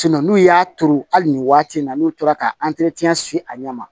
n'u y'a turu hali nin waati in na n'u tora ka se a ɲɛ ma